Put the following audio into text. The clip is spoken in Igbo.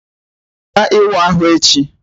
Ọ ga-aga ịwa ahụ echi?